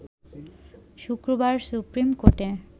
শুক্রবার সুপ্রিম কোর্টে